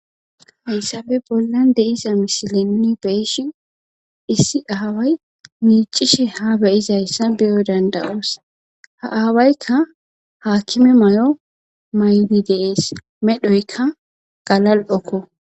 Hayssabe bollan deiza misilinni beeshi issi aaway miicishe ha beyizayssa beyo dandawoos ha aawaykka haakime may'o maydi deees medhoykka galal'okko.